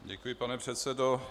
Děkuji, pane předsedo.